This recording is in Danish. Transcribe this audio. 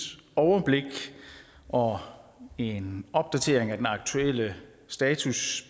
overblik og en opdatering af den aktuelle status